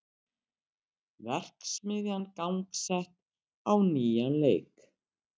Verksmiðjan gangsett á nýjan leik